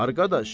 Arxadaş.